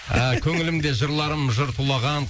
ыыы көңілімде жырларым жыр тулаған